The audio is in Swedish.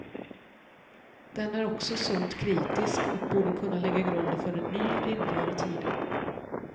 Den är också sunt kritisk och borde kunna lägga grunden för en ny, rimligare tid.